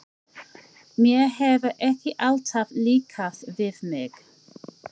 Mér hefur ekki alltaf líkað við mig.